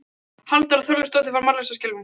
Halldóra Þorleifsdóttir varð mállaus af skelfingu.